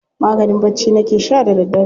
Maganin bacci nake sha da daddare.